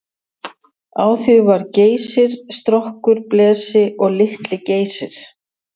Á því var Geysir, Strokkur, Blesi og Litli-Geysir.